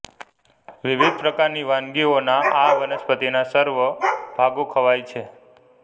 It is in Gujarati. વિવિધ પ્રકારની વાનગીઓના આવનસ્પતિના સર્વ ભાગો ખવાય છે